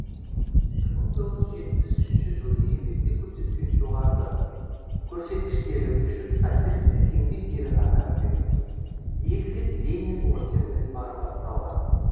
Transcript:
бір мың тоғыз жүз жетпіс үшінші жылы еңбекте көрсеткен жоғарғы көрсеткіштері үшін социалистік еңбек ері атағы берілді екі рет ленин орденімен марапатталған